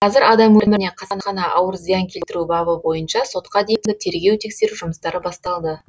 қазір адам өміріне қасақана ауыр зиян келтіру бабы бойынша сотқа дейінгі тергеу тексеру жұмыстары басталды